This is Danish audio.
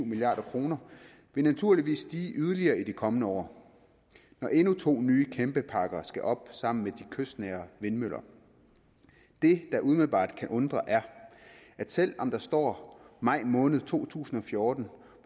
milliard kroner vil naturligvis stige yderligere i de kommende år når endnu to nye kæmpeparker skal op sammen med de kystnære vindmøller det der umiddelbart kan undre er at selv om der står maj måned to tusind og fjorten